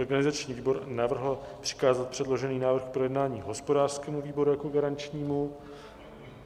Organizační výbor navrhl přikázat předložený návrh k projednání hospodářskému výboru jako garančnímu.